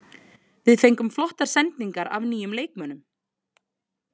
Við fengum flottar sendingar af nýjum leikmönnum.